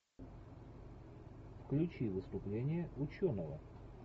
включи выступление ученого